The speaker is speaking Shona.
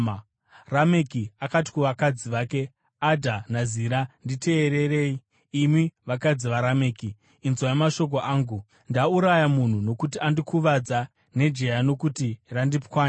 Rameki akati kuvakadzi vake, “Adha naZira, nditeererei; imi vakadzi vaRameki, inzwai mashoko angu. Ndauraya munhu nokuti andikuvadza, nejaya nokuti randipwanya.